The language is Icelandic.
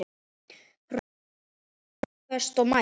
Rökföst og mælsk.